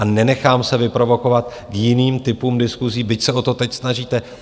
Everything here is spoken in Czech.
A nenechám se vyprovokovat k jiným typům diskusí, byť se o to teď snažíte.